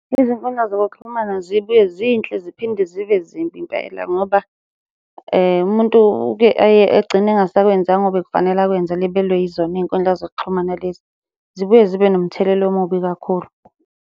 Izinkundla zokuxhumana zibuye zinhle ziphinde zibe zimbi impela ngoba umuntu uke aye agcina engasakwenzanga obekufanele akwenze elibelwe yizona iy'nkundla zokuxhumana lezi. Zibuye zibe nomthelela omubi kakhulu.